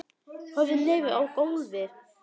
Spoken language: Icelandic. Horfir niður á gólfið.